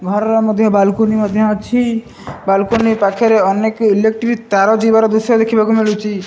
ଘରର ମଧ୍ଯ ବାଲକୁନି ମଧ୍ଯ ଅଛି ବାଲକୁନି ପାଖରେ ଅନେକ ଇଲେକ୍ଟ୍ରି ତାର ଯିବାର ଦୃଶ୍ଯ ଦେଖିବାକୁ ମିଳୁଛି।